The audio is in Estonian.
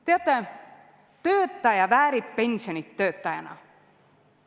Teate, töötaja väärib pensioni töötajana.